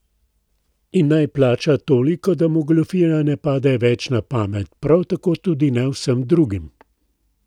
In naj plača toliko, da mu goljufija ne pade več na pamet, prav tako tudi ne vsem drugim.